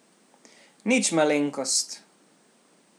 Nič malenkost!